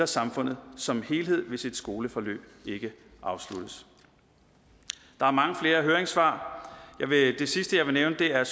samfundet som helhed hvis et skoleforløb ikke afsluttes der er mange flere høringssvar og det sidste jeg vil nævne er